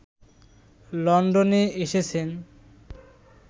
লন্ডনে এসেছেন